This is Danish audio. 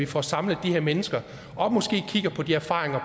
får samlet de her mennesker og måske får kigget på de erfaringer